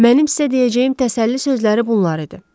Mənim sizə deyəcəyim təsəlli sözləri bunlar idi.